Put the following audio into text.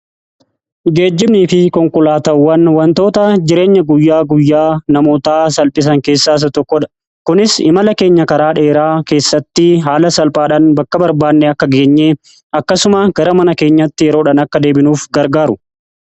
Geejjibnii fi konkolaatawwan wantoota jireenya guyyaa guyyaa namootaa salphisan keessaasa tokkodha. Kunis imala keenya karaa dheeraa keessatti haala salphaadhan bakka barbaanne akka geenyeen akkasuma gara mana keenyatti yeroodhan akka deebinuuf gargaaru.